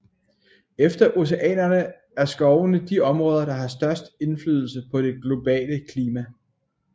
Efter oceanerne er skovene de områder der har størst indflydelse på det globale klima